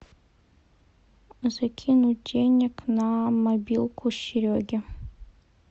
закинуть денег на мобилку сереге